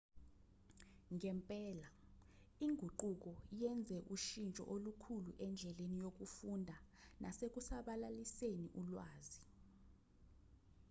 ngempela inguquko yenze ushintsho olukhulu endleni yokufunda nasekusabalaliseni ulwazi